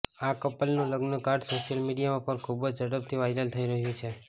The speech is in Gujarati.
આ કપલનું લગ્નનું કાર્ડ સોશ્યિલ મીડિયા પર ખુબ જ ઝડપથી વાયરલ થઇ રહ્યું છે